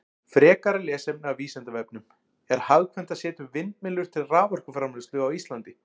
Frekara lesefni af Vísindavefnum: Er hagkvæmt að setja upp vindmyllur til raforkuframleiðslu á Íslandi?